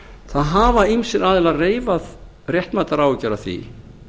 það hafa ýmsir aðilar reifað réttmætar áhyggjur af því